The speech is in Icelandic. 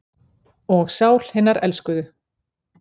Og sál hinnar elskuðu.